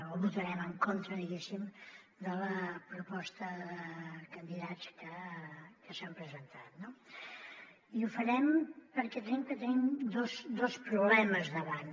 o votarem en contra diguéssim de la proposta de candidats que s’han presentat no i ho farem perquè creiem que tenim dos problemes davant